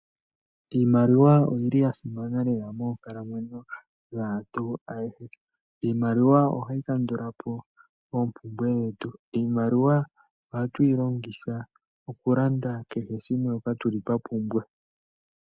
Iimaliwa oyili yasimana lela monkalamwenyo dhantu ayehe, iimaliwa ohayi kandulapo opumbwe dhetu , iimaliwa oha twilanditha kehe shimwe shoka tuli twapumbwa.